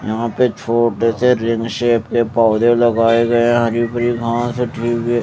यहा पे छोटे से रिंग सेप के पौधे लगाये गये हरी भरी घास है --